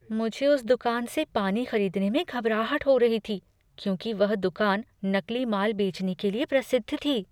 मुझे उस दुकान से पानी खरीदने में घबराहट हो रही थी क्योंकि वह दुकान नकली माल बेचने के लिए प्रसिद्ध थी।